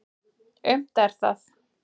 Aumt er það.